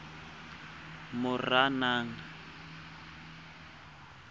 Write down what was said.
moranang